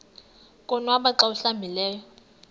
konwaba xa awuhlambileyo